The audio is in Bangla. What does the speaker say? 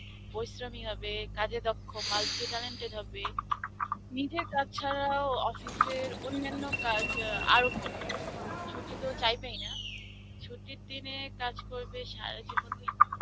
প্ররিশ্রমী হবে, কাজে দক্ষ multi talented হবে. নিজের কাজ ছাড়াও office এর অন্যান্য কাজ আ আরো করবে. ছুটি তো চাইবেই না. ছুটির দিনে কাজ করবে সারাজীবন নিয়ে.